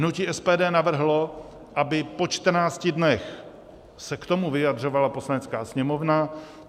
Hnutí SPD navrhlo, aby po 14 dnech se k tomu vyjadřovala Poslanecká sněmovna.